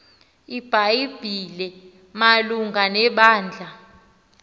ibhayibhile malunga nebandla